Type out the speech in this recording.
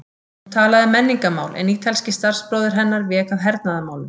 Hún talaði um menningarmál, en ítalski starfsbróðir hennar vék að hernaðarmálum.